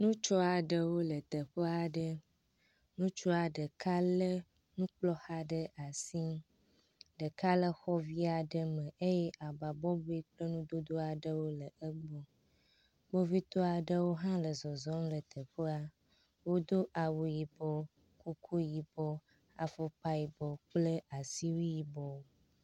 Ŋutsu aɖewo le teƒe aɖe. Ŋutsu ɖeka lé nukplɔxa ɖe asi, ɖeka le xɔ vi aɖe me eye aba bɔbɔe kple nudodo aɖewo le egbɔ. Kpovitɔ aɖewo hã le zɔzɔm le teƒea, wodo awu yibɔ, kuku yibɔ, afɔkpa yibɔ kple asiwui yibɔ.